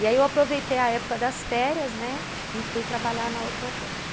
E aí eu aproveitei a época das férias, né, e fui trabalhar na outra creche.